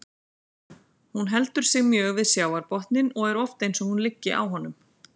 Hún heldur sig mjög við sjávarbotninn og er oft eins og hún liggi á honum.